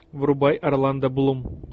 врубай орландо блум